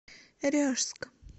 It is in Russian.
ряжск